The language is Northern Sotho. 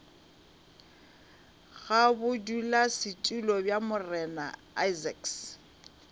ga bodulasetulo bja morena isaacs